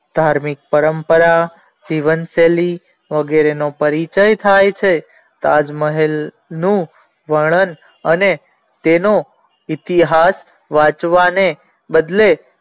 ધાર્મિક પરંપરા જીવન શેલી વગેરે નો પરિચય થાય છે તાજ મહેલ નું વર્ણન અને તેનો ઇતિહાસ વાંચવાને બદલે